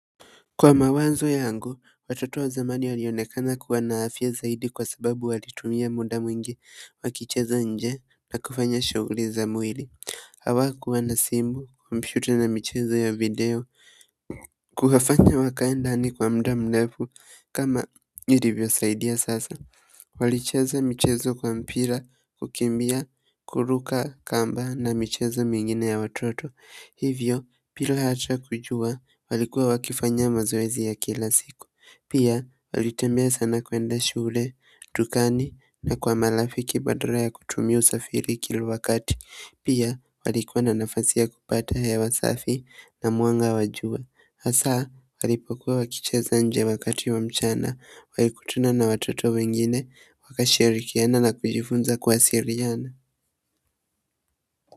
Kwa mawazo yangu watoto wa zamani walionekana kuwa na afya zaidi kwa sababu walitumia muda mwingi wakicheza nje na kufanya shughuli za mwili. Hawakuwa na simu kompyuta na michezo ya video kuwafanya wakaenda ni kwa muda mrefu kama ilivyosaidia sasa. Walicheza michezo kwa mpira kukimbia kuruka kamba na michezo mingine ya watoto hivyo bila hata kujua walikuwa wakifanya mazoezi ya kila siku pia walitembea sana kuenda shule, dukani na kwa marafiki badala ya kutumia usafiri kila wakati pia walikuwa na nafasi ya kupata hewa safi na mwanga wa jua hasa walipokuwa wakicheza nje wakati wa mchana walikutana na watoto wengine wakashirikiana na kujifunza kuwasiliana.